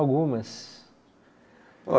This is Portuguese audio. Algumas.